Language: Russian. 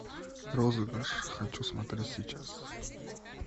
розыгрыш хочу смотреть сейчас